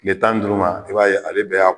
Tile tan ni duuru ma i b'a ye ale bɛ a